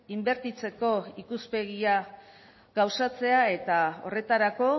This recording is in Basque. inbertitzeko ikuspegia gauzatzea eta horretarako